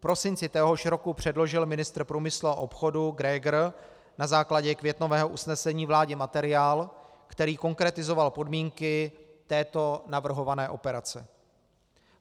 V prosinci téhož roku předložil ministr průmyslu a obchodu Grégr na základě květnového usnesení vládě materiál, který konkretizoval podmínky této navrhované operace.